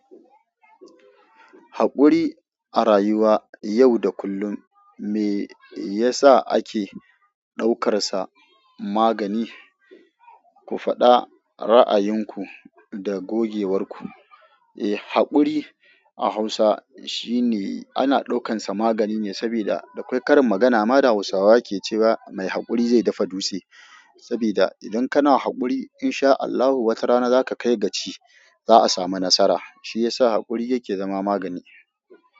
Haƙuri a rayuwa yau da kullum me yasa ake ɗaukarsa magani? Ku faɗa ra'ayinku da gogewar ku. Eh, haƙuri a Hausa shine ana ɗau kansa magani ne saboda akwai karin magana ma da Hausawa ke cewa "mai haƙuri zai dafa dutse" saboda idan kana haƙuri in sha Allahu wata rana za ka kai ga ci, za a samu nasara. Shi yasa haƙuri yake zama magani.